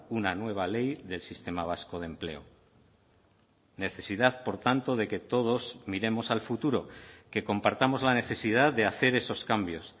una nueva ley del sistema vasco de empleo necesidad por tanto de que todos miremos al futuro que compartamos la necesidad de hacer esos cambios